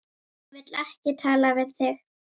Hún vill ekki tala við þig!